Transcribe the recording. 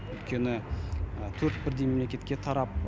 өйткені төрт бірдей мемлекетке тарап